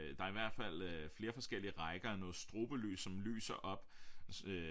Der er i hvert fald øh flere forskellige rækker af noget strobelys som lyser op øh